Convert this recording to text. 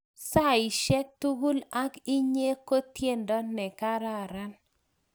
saishek tugul ak inye ko tiendo ne karakaran